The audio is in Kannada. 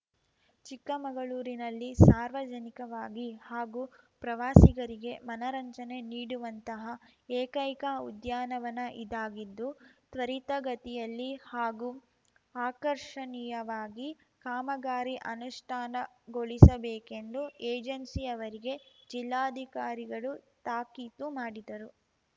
ಚಿಕ್ಕಮಗಳೂರಿನಲ್ಲಿ ಸಾರ್ವಜನಿಕವಾಗಿ ಹಾಗೂ ಪ್ರವಾಸಿಗರಿಗೆ ಮನರಂಜನೆ ನೀಡುವಂತಹ ಏಕೈಕ ಉದ್ಯಾನವನ ಇದಾಗಿದ್ದು ತ್ವರಿತಗತಿಯಲ್ಲಿ ಹಾಗೂ ಆಕರ್ಷಣೀಯವಾಗಿ ಕಾಮಗಾರಿ ಅನುಷ್ಠಾನಗೊಳಿಸಬೇಕೆಂದು ಏಜೆನ್ಸಿಯವರಿಗೆ ಜಿಲ್ಲಾಧಿಕಾರಿಗಳು ತಾಕೀತು ಮಾಡಿದರು